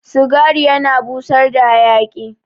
Cigari yana busar da hayaki